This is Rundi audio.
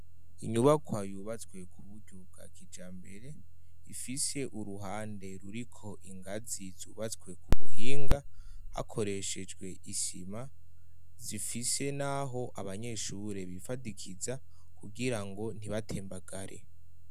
Inyubakwa yubatswe kuburyo bwa kijambere ifise uruhande ruriko ingazi zubatswe ku buhinga hakoreshejwe isima zifise naho abanyeshure bifadikiza kugirango ntibatembagare.